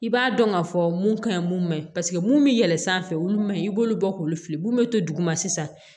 I b'a dɔn ka fɔ mun ka ɲi mun ma ɲi paseke mun bɛ yɛlɛn sanfɛ olu man ɲi i b'olu bɔ k'olu fili mun bɛ to duguma sisan